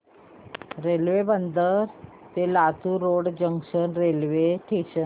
railway Bidar ते Latur road junction railway station